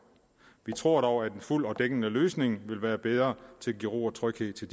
vi tror dog at en fuld og dækkende løsning vil være bedre til at give ro og tryghed til